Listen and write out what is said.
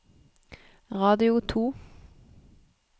radio to